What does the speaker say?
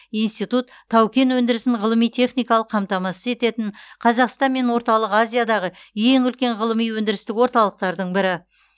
институт тау кен өндірісін ғылыми техникалық қамтамасыз ететін қазақстан мен орталық азиядағы ең үлкен ғылыми өндірістік орталықтардың бірі